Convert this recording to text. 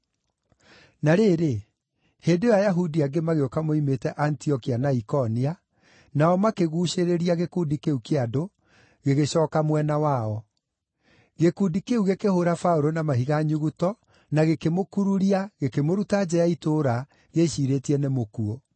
Na rĩrĩ, hĩndĩ ĩyo Ayahudi angĩ magĩũka moimĩte Antiokia na Ikonia, nao makĩguucĩrĩria gĩkundi kĩu kĩa andũ, gĩgĩcooka mwena wao. Gĩkundi kĩu gĩkĩhũũra Paũlũ na mahiga nyuguto, na gĩkĩmũkururia, gĩkĩmũruta nja ya itũũra, gĩĩciirĩtie nĩ mũkuũ.